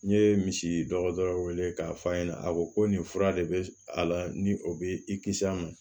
N ye misi dɔgɔtɔrɔ wele k'a fɔ a ɲɛna a ko ko nin fura de bɛ a la ni o bɛ i kisi a ma